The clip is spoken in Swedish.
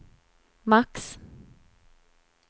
max